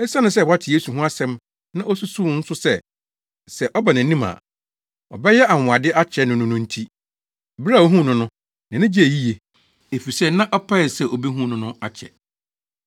Esiane sɛ wate Yesu ho asɛm na osusuw nso sɛ, sɛ ɔba nʼanim a, ɔbɛyɛ anwonwade akyerɛ no no nti, bere a ohuu no no, nʼani gyee yiye, efisɛ na ɔpɛe sɛ obehu no no akyɛ.